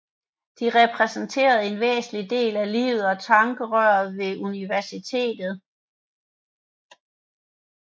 De repræsenterede en væsentlig del af livet og tankerøret ved universitetet